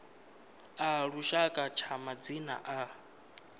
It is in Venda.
a lushaka tsha madzina a